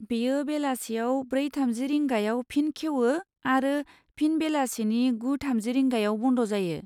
बेयो बेलासियाव ब्रै थामजि रिंगायाव फिन खेवो, आरो फिन बेलासिनि गु थामजि रिंगायाव बन्द जायो।